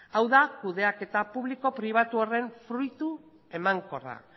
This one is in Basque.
hau da kudeaketa publiko pribatu horren fruitu emankorra